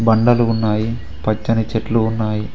బండలు ఉన్నాయి పచ్చని చెట్లు ఉన్నాయి.